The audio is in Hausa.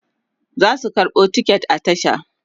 zasu karɓo ticket a tasha